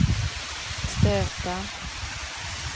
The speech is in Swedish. stöta